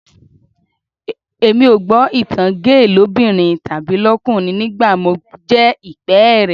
Èmi ò gbọ́ ìtan géè lóbìnrin tàbí lọ́kùnrin nígbà mo jẹ ìpẹ́ẹ́rẹ́